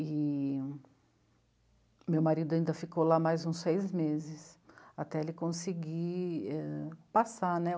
E meu marido ainda ficou lá mais uns seis meses, até ele conseguir passar, né?